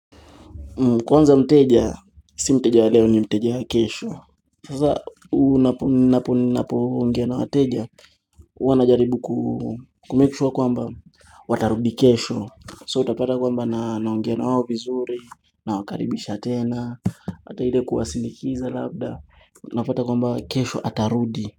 Mmh kwanza mteja, si mteja wa leo ni mteja ya kesho. Sasa ninapoongea na wateja. Huwa na jaribu kumemake sure kwamba watarudi kesho. So utapata kwamba naongea nawao vizuri, na wakaribisha tena, hata ile kuwasindikiza labda, napata kwamba kesho atarudi.